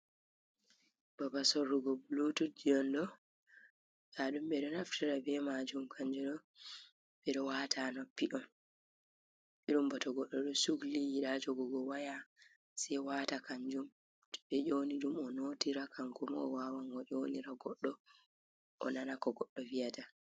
Baba Sorrugo bulututji'on ɗo, ndaɗum ɓe ɗon Naftira be majum. Kanjuɗo ɓe ɗo wata ha Noppi’on irum bata Godɗo ɗo Sukliɗo yiɗa jogugo waya se wata kanjum, to ɓe ƴoniɗum onotira Kanko ma owawan oƴonira godɗo Onana ko goddo viyata.